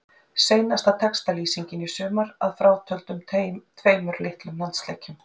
Seinasta textalýsingin í sumar, að frátöldum tveimur litlum landsleikjum.